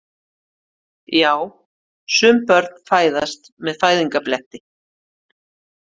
Já, sum börn fæðast með fæðingarbletti.